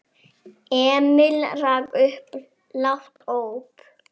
Emil rak upp lágt óp.